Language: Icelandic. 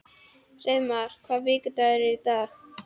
Hreiðmar, hvaða vikudagur er í dag?